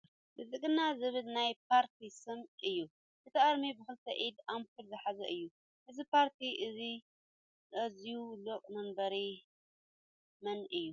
ብልፅግና ዝብል ናይ ፓርቲ ስም እዩ ። እቲ ኣርማ ብክልተ ኢድ ኣምፑል ዝሓዙ እዩ ። እዚ ፓርቲ እዙይ እዙይ ሊቀ መንበር መን እዩ ?